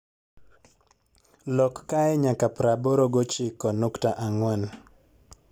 lok kae nyaka praaboro gi ochiko nukta angwen